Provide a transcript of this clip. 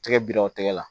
Tɛgɛ bira o tɛgɛ la